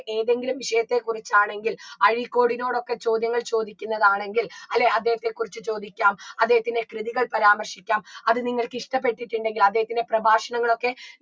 ഏതെങ്കിലും വിഷയത്തെ കുറിച്ചാണെങ്കിൽ അഴീക്കോടിനോടൊക്കെ ചോദ്യങ്ങൾ ചോദിക്കുന്നതാണെങ്കിൽ അല്ലേ അദ്ദേഹത്തെ കുറിച്ച് ചോദിക്കാം അദ്ദേഹത്തിൻറെ കൃതികൾ പരാമർശിക്കാം അത് നിങ്ങൾക്ക് ഇഷ്ട്ടപ്പെട്ടിട്ടിണ്ടെങ്കിൽ അദ്ദേഹത്തിൻറെ പ്രഭാഷണങ്ങളൊക്കെ